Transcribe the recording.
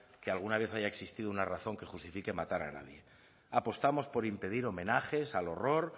que alguna vez haya existido una razón que justifique matar a nadie apostamos por impedir homenajes al horror